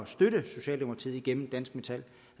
støtte socialdemokratiet gennem dansk metal